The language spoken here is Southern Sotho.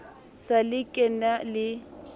sa le ke na le